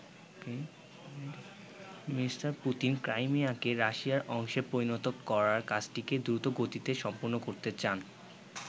Me. Putin ক্রাইমিয়াকে রাশিয়ার অংশে পরিণত করার কাজটিকে দ্রুতগতিতে সম্পন্ন করতে চান।